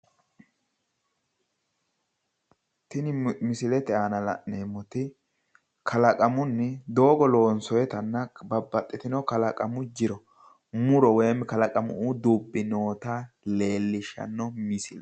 Tini misilete aana la'neemmoti kalaqamunni doogo loonsoyitanna babbaxitino kalaqamu jiro muro woyim kalaqamu dubbi noota leellishanno misile.